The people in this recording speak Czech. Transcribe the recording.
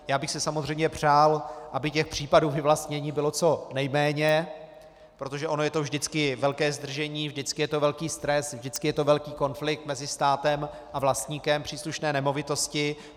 Já bych si samozřejmě přál, aby těch případů vyvlastnění bylo co nejméně, protože ono je to vždycky velké zdržení, vždycky je to velký stres, vždycky je to velký konflikt mezi státem a vlastníkem příslušné nemovitosti.